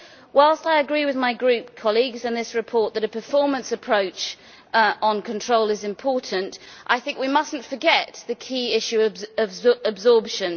Whilst I agree with my group colleagues on this report that a performance approach on control is important, I think we must not forget the key issue of absorption.